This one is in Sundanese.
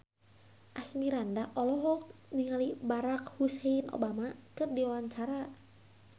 Asmirandah olohok ningali Barack Hussein Obama keur diwawancara